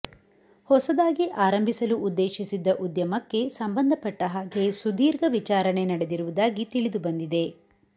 ಹೊಸದಾಗಿ ಆರಂಭಿಸಲು ಉದ್ದೇಶಿಸಿದ್ದ ಉದ್ಯಮಕ್ಕೆ ಸಂಬಂಧಪಟ್ಟಹಾಗೆ ಸುದೀರ್ಘ ವಿಚಾರಣೆ ನಡೆದಿರುವುದಾಗಿ ತಿಳಿದುಬಂದಿದೆ